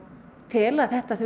þurfi kannski aðeins að skoða